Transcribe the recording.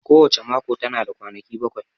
Ko wace mako tana da kwanaki bakwai